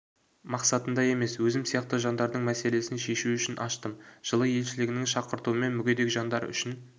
мақсатында емес өзім сияқты жандардың мәселесін шешу үшін аштым жылы елшілігінің шақыртуымен мүгедек жандар үшін